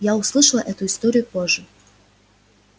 я услышала эту историю позже